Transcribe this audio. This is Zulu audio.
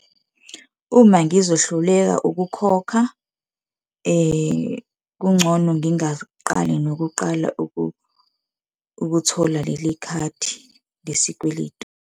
Uma ngizohluleka ukukhokha, kungcono ngingaqali nokuqala ukuthola leli khadi lesikweletu.